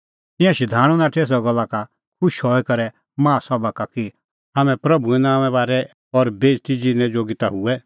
तिंयां शधाणूं नाठै एसा गल्ला का खुश हई करै माहा सभा का कि हाम्हैं प्रभूए नांओंए बारै और बेइज़ती ज़िरनै जोगी ता हुऐ